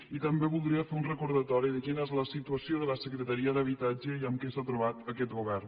i també voldria fer un recordatori de quina és la situació de la secretaria d’habitatge i amb què s’ha trobat aquest govern